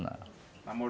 Não... Amor